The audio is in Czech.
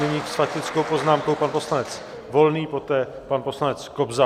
Nyní s faktickou poznámkou pan poslanec Volný, poté pan poslanec Kobza.